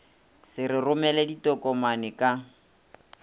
se re romele ditokomane ka